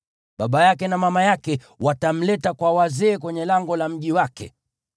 baba yake na mama yake watamleta kwa wazee kwenye lango la mji wake.